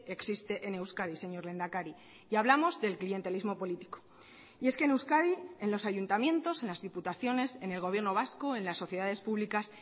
existe en euskadi señor lehendakari y hablamos del clientelismo político y es que en euskadi en los ayuntamientos en las diputaciones en el gobierno vasco en las sociedades públicas